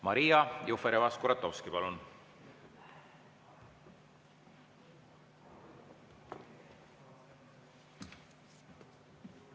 Maria Jufereva-Skuratovski, palun!